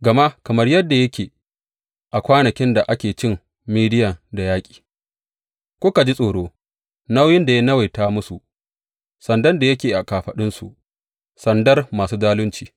Gama kamar yadda yake a kwanakin da aka ci Midiyan da yaƙi, kuka ji tsoro nauyin da ya nawaita musu, sandar da yake a kafaɗunsu, sandar masu zaluncinsu.